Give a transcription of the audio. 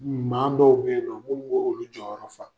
Maa dɔw bɛ yen nɔ olu jɔyɔrɔ fa